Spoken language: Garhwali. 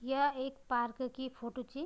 या एक पार्क की फोटो च।